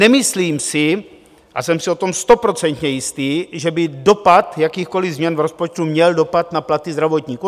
Nemyslím si, a jsem si o tom stoprocentně jistý, že by dopad jakýchkoli změn v rozpočtu měl dopad na platy zdravotníků.